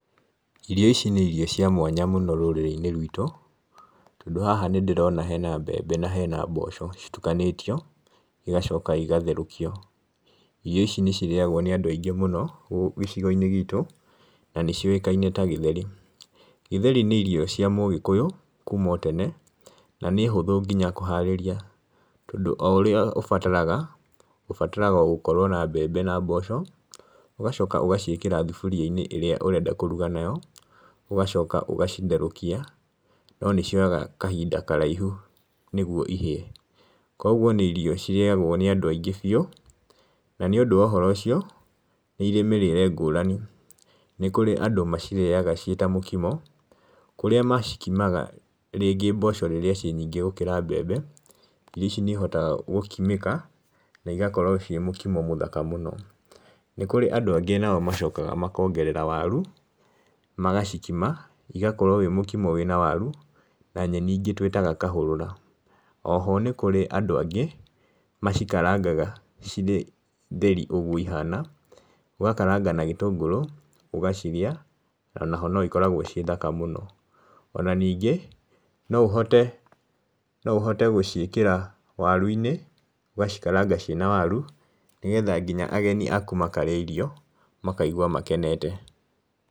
Irio ici nĩ irio cia mwanya mũno rurĩrĩ-inĩ rwitũ, tondũ haha nĩ ndĩrona hena mbebe na hena mboco citukanĩtio, igacoka igatherũkio. Irio ici nĩ cirĩagwo nĩ andũ aingíĩ mũno gĩcigo-inĩ gĩtũ na nĩ ciũĩkaine ta gĩtheri. Gĩtheri nĩ irio cia mũgĩkũyu kuma o tene, na nĩ hũthũ nginya kũharĩria, tondũ o ũria ũbataraga, ũbataraga gũkorwo na mbembe na mbosho, ũgacoka ũgaciĩkĩra thaburia-inĩ ĩrĩa ũrenda kũruga nayo, ũgacoka ũgacitherũkia no nĩ cioyaga kahinda karaihu nĩ guo ihĩe, Kũguo nĩ irio cirĩagwo nĩ andũ aingĩ biũ, na nĩ ũndũ wa ũhoro ũcio, nĩ irĩ mĩrĩre ngũrani. Nĩ kũrĩ andũ macirĩaga ciĩ ta mokimo, kũrĩa macikimaga rĩngĩ mbosho rĩrĩa ciĩ nyingĩ gũkĩra mbembe, irio ici nĩ ihotaga gũkimĩka na igakorwo ciĩ mokimo mũthaka mũno. Nĩ kũrĩ andũ angĩ nao macokaga makongerera waru magacikima, igakorwo wĩ mokimo wĩna waru na nyeni ĩngĩ twĩtaga kahũrũra. Oho nĩ kũrĩ andũ angĩ macikarangaga cirĩ theri ũguo ihana, ũgakaranga na gĩtũngũrũ ũgacirĩa onaho na cikoragwo ciĩ thaka mũno. Ona ningĩ no ũhote gũciĩkĩra waru-inĩ, ũgacikaranga ciĩna waru nĩ getha nginya ageni akũ makarĩa irio makaigua makenete.